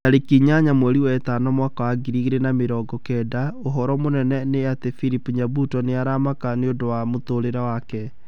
Tarĩki inyanya mweri wa ĩtano mwaka wa ngiri igĩrĩ na mĩrongo kenda ũhoro mũnene nĩ ati philip nyabuto nĩ aramaka nĩũndũ wa mũtũrĩre wake